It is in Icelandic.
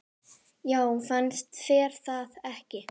Já, fannst þér það ekki?